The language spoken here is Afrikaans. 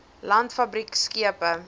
land fabriek skepe